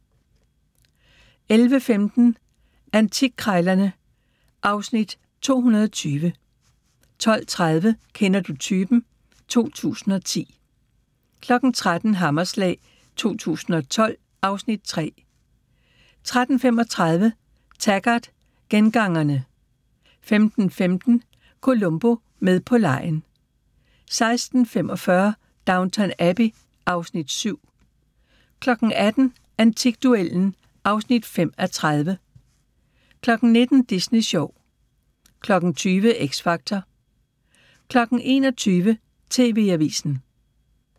11:15: Antikkrejlerne (Afs. 220) 12:30: Kender du typen? 2010 13:00: Hammerslag 2012 (Afs. 3) 13:35: Taggart: Gengangerne 15:15: Columbo: Med på legen 16:45: Downton Abbey (Afs. 7) 18:00: Antikduellen (5:30) 19:00: Disney Sjov 20:00: X Factor 21:00: TV-avisen